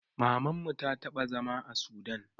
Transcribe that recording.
Mamanmu ta taɓa zama a sudan